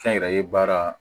Kɛ n yɛrɛ ye baara